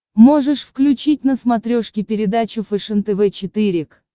можешь включить на смотрешке передачу фэшен тв четыре к